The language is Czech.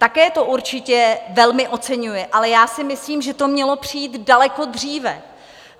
Také to určitě velmi oceňuji, ale já si myslím, že to mělo přijít daleko dříve.